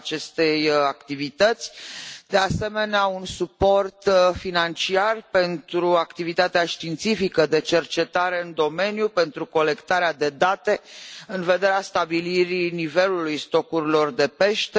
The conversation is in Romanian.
cerem, de asemenea, un suport financiar pentru activitatea științifică de cercetare în domeniu, pentru colectarea de date în vederea stabilirii nivelului stocurilor de pește.